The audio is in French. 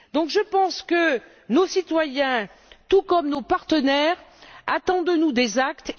Je pense donc que nos citoyens, tout comme nos partenaires, attendent de nous des actes.